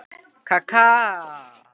Hann er magnaður þessi töframaður.